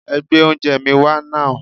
Ẹ gbé oúnjẹẹ̀ mi wá nàú!